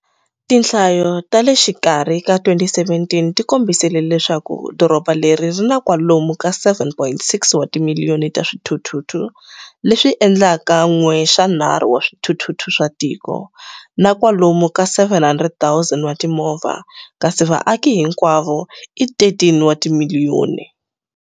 Tinhlayo ta le xikarhi ka 2017 ti kombisile leswaku doroba leri ri na kwalomu ka 7.6 wa timiliyoni ta swithuthuthu, leswi endlaka 1 xa 3 wa swithuthuthu swa tiko, na kwalomu ka 700,000 wa timovha, kasi vaaki hinkwavo i 13 wa timiliyoni.